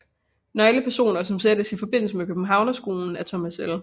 Nøglepersoner som sættes i forbindelse med Københavnerskolen er Thomas L